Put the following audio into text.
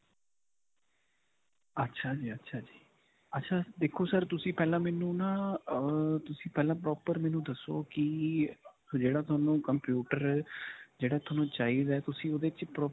ਅੱਛਾ ਜੀ, ਅੱਛਾ ਜੀ, ਅੱਛਾ. ਦੇਖੋ sir ਤੁਸੀਂ ਪਹਿਲਾਂ ਮੈਨੂੰ ਨਾ ਅਅ ਤੁਸੀਂ ਪਹਿਲਾਂ proper ਮੈਨੂੰ ਦੱਸੋ ਕਿ ਜਿਹੜਾ ਤੁਹਾਨੂੰ computer ਜਿਹੜਾ ਤੁਹਾਨੂੰ ਚਾਹੀਦਾ ਹੈ ਤੁਸੀਂ ਓਹਦੇ 'ਚ .